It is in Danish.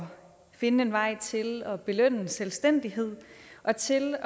for at finde en vej til at belønne selvstændighed og til